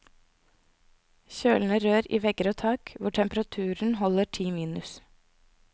Kjølende rør i vegger og tak, hvor temperaturen holder ti minus.